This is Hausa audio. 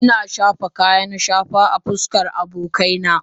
Ina shafa kayan shafa a fuskar abokaina